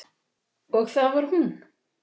Og það var hún.